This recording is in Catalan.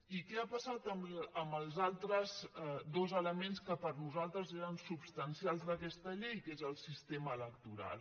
i què ha passat amb els altres dos elements que per nos·altres eren substancials d’aquesta llei que és el sistema electoral